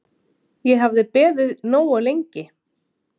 Ég hafði beðið nógu lengi.